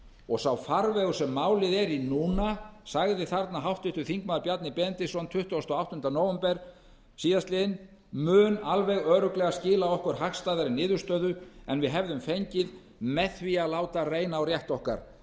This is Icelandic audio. og sá farvegur sem málið er í núna sagði þarna háttvirtur þingmaður bjarni benediktsson tuttugasta og áttunda nóvember síðastliðinn mun alveg örugglega skila okkur hagstæðari niðurstöðu en við hefðum fengið með því að láta reyna á rétt okkar